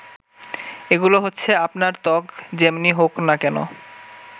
এগুলো হচ্ছে আপনার ত্বক যেমনি হোক না কেন